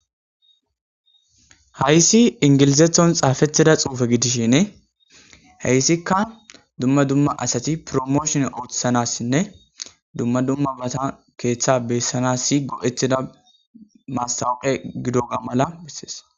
Hayssi ingilizethon xaafetida xuufe gidishin heyssikka dumma dumma asati promooshon oothisanassinne dumma dumma bata keeththa beessanas si go7etida maassawuqe gido ga mala bessees.